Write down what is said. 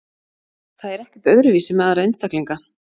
Það er ekkert öðruvísi með aðra einstaklinga.